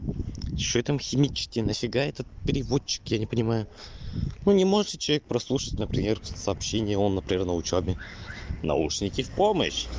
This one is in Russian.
что там химические нафига этот переводчик я не понимаю ну не можете прослушать например сообщение он например на учёбе наушники в помощь